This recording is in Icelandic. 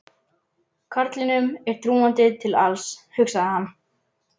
Karlinum er trúandi til alls, hugsaði hann.